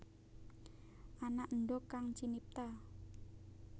Ana endhog kang cinipta